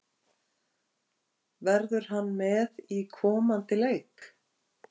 Verður hann með í komandi leik?